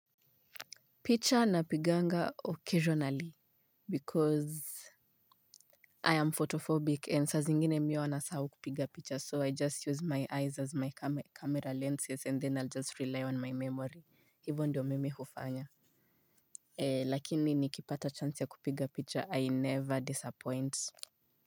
Picha napiganga occasionally because I am photophobic and saa zingine mi huwa nasahau kupiga picha so I just use my eyes as my camera lenses and then I'll just rely on my memory hivyo ndiyo mimi hufanya. Lakini nikipata chance ya kupiga picha I never disappoint.